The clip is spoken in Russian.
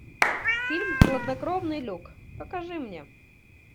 фильм хладнокровный люк покажи мне